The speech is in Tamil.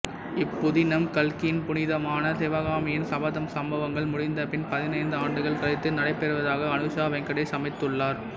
இப்புதினம் கல்கியின் புதினமான சிவகாமியின் சபதம் சம்பவங்கள் முடிந்தபின் பதினைந்து ஆண்டுகள் கழித்து நடைபெறுவதாக அனுஷா வெங்கடேஷ் அமைத்துள்ளார்